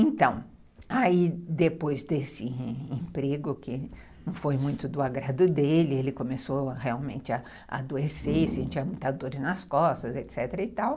Então, aí depois desse emprego que não foi muito do agrado dele, ele começou realmente a adoecer e sentir muita dor nas costas, etc e tal,